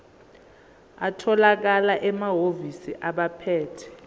atholakala emahhovisi abaphethe